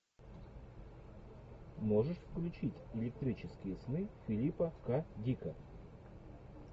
можешь включить электрические сны филипа к дика